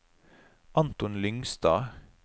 Anton Lyngstad